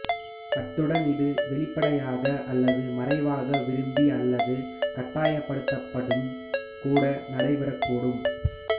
அத்துடன் இது வெளிப்படையாக அல்லது மறைவாக விரும்பி அல்லது கட்டாயப்படுத்தப்பட்டும் கூட நடைபெறக்கூடும்